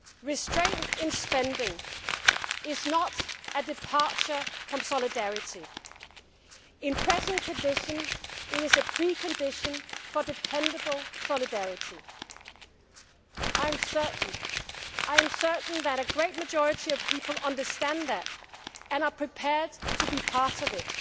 Restraint in spending is not a departure from solidarity in present conditions, it is a precondition for dependable solidarity. I am certain that a great majority of people understand that, and are prepared to be part of